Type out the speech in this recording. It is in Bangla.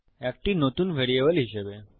একটি নতুন ভ্যারিয়েবল হিসাবে